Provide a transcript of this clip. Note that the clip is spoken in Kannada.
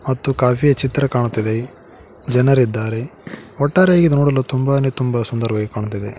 ಮತ್ತು ಕಾಫಿ ಯ ಚಿತ್ರ ಕಾಣುತ್ತಿದೆ ಜನರಿದ್ದಾರೆ ಒಟ್ಟಾರೆಯಾಗಿ ನೋಡಲು ತುಂಬಾನೆ ತುಂಬ ಸುಂದರವಾಗಿ ಕಾಣುತ್ತಿದೆ.